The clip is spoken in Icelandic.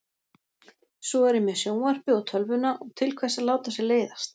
Svo er ég með sjónvarpið og tölvuna og til hvers að láta sér leiðast?